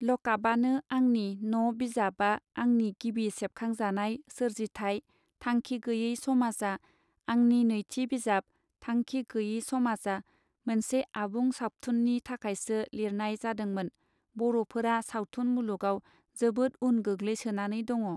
लकापआनो आंनि न बिजाबा आंनि गिबि सेबखां जानाय सोरजिथाय थांखि गैये समाजआ आंनि नैथि बिजाब थांखि गैये समाज आ मोनसे आबुं साबथुननि थाखायसो लिरनाय जादोंमोन बरफोरा सावथुन मुलुगाव जोबोद उन गोग्लैसोनानै दङ.